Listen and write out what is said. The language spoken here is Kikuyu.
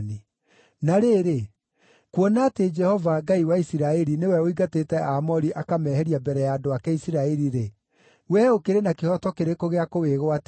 “Na rĩrĩ, kuona atĩ Jehova, Ngai wa Isiraeli nĩwe ũingatĩte Aamori akameheria mbere ya andũ ake Isiraeli-rĩ, wee ũkĩrĩ na kĩhooto kĩrĩkũ gĩa kũwĩgwatĩra?